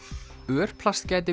örplast gæti